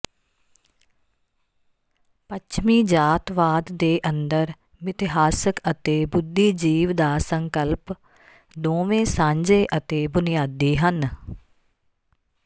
ਪੱਛਮੀ ਜਾਤਵਾਦ ਦੇ ਅੰਦਰ ਮਿਥਿਹਾਸਕ ਅਤੇ ਬੁੱਧੀਜੀਵ ਦਾ ਸੰਕਲਪ ਦੋਵੇਂ ਸਾਂਝੇ ਅਤੇ ਬੁਨਿਆਦੀ ਹਨ